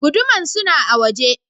Guduman suna a waje.